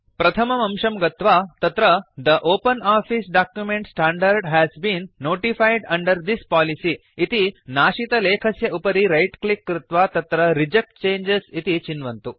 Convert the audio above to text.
प्रथमम् अंशं गत्वा तत्र the OpenOffice document standard has been notified under this policy इति नाशितलेखस्य उपरि रैट् क्लिक् कृत्वा तत्र रिजेक्ट चङ्गे इति चिन्वन्तु